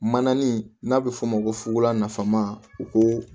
Mananin n'a bɛ f'o ma ko fugula nafama u ko